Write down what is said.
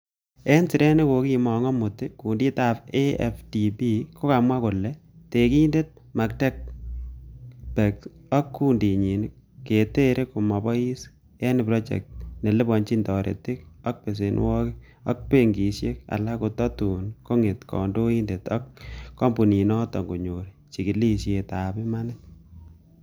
En siret nekokimong omut, kunditab AfDB kokomwa kole, tekindet Mactebec ak kundinyin ketere komobois en projectit neliponyin toretik ab besenwogik, ak benkisiek alak kototun konget kondoindet ak kompuninoton konyor chigilisiet ab imanit.